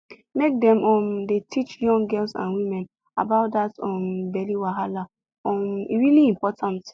make dem um dey teach young girls and women about that um belly wahala um e really important